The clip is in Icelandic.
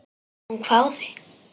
Hún hváði.